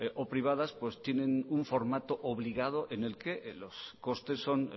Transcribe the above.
o privadas pues tienen un formato obligado en el que los costes son